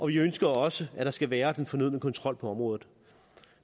vi ønsker også at der skal være den fornødne kontrol på området